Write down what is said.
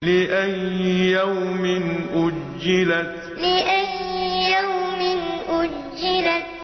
لِأَيِّ يَوْمٍ أُجِّلَتْ لِأَيِّ يَوْمٍ أُجِّلَتْ